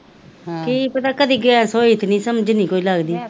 ਕੀ ਪਤਾ ਕੜੀ ਗੈਸ ਹੋਈ ਕੀ ਨਹੀਂ ਸਮਝ ਨੀ ਕੋਈ ਲੱਗਦੀ ਗੈਸ,